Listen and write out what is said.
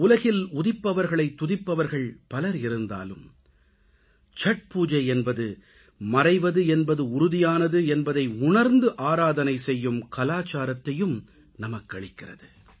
உலகில் உதிப்பவர்களைத் துதிப்பவர்கள் பலர் இருந்தாலும் சத்பூஜை என்பது மறைவது என்பது உறுதியானது என்பதை உணர்ந்து ஆராதனை செய்யும் கலாச்சாரத்தையும் நமக்களிக்கிறது